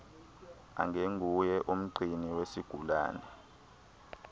angenguye umgcini wesigulane